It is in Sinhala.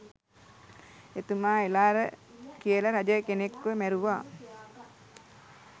එතුමා එළාර කියල රජ කෙනෙක්ව මැරුව